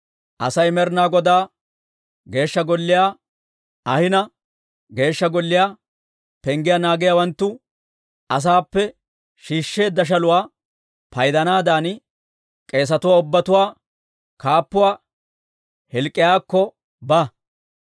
«Asay Med'inaa Godaa Geeshsha Golliyaa ahina, Geeshsha Golliyaa penggiyaa naagiyaawanttu asaappe shiishsheedda shaluwaa paydanaadan, k'eesatuwaa ubbatuwaa kaappuwaa Hilk'k'iyaakko ba.